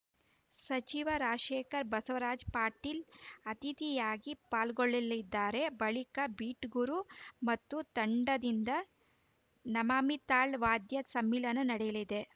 ಸಚಿವ ರಾಜಶೇಖರ ಬಸವರಾಜ ಪಾಟೀಲ್‌ ಅತಿಥಿಯಾಗಿ ಪಾಲ್ಗೊಳ್ಳಲಿದ್ದಾರೆ ಬಳಿಕ ಬೀಟ್‌ಗುರು ಮತ್ತು ತಂಡದಿಂದ ನಮಾಮಿ ತಾಳ್ ವಾದ್ಯ ಸಮ್ಮಿಲನ ನಡೆಯಲಿದೆ